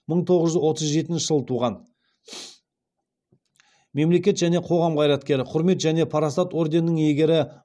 мың тоғыз жүз отыз жетінші жылы туған мемлекет және қоғам қайраткері құрмет және парасат ордендерінің иегері